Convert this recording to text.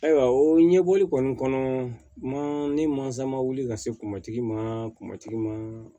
Ayiwa o ɲɛbɔli kɔni kɔnɔ ma ni mansa ma wuli ka se kunmatigi ma kunmatigi ma